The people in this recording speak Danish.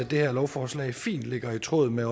det her lovforslag fint ligger i tråd med